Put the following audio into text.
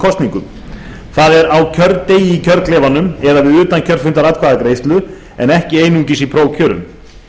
kosningum það er á kjördegi í kjörklefanum eða við utankjörfundaratkvæðagreiðslu en ekki einungis í prófkjörum